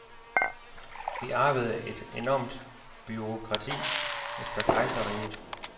Vi arvede et enormt bureaukrati efter kejserriget.